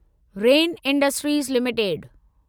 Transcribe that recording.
rain industries limited